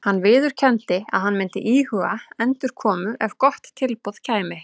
Hann viðurkenndi að hann myndi íhuga endurkomu ef gott tilboð kæmi.